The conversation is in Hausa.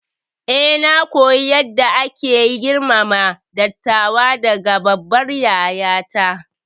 Eh, na koyi yadda ake girmama dattawa daga babbar yayata.